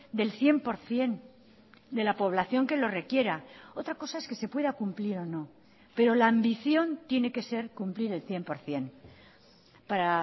del cien por ciento de la población que lo requiera otra cosa es que se pueda cumplir o no pero la ambición tiene que ser cumplir el cien por ciento para